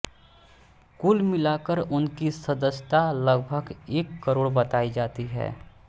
कुल मिलाकर उनकी सदस्यता लगभग एक करोड़ बताई जाती है